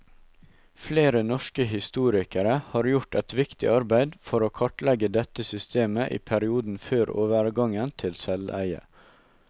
Flere norske historikere har gjort et viktig arbeid for å kartlegge dette systemet i perioden før overgangen til selveie.